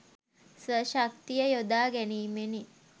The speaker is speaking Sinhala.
ස්ව ශක්තිය යොදා ගැනීමෙනි.